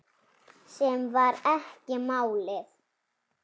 Sem var ekki málið.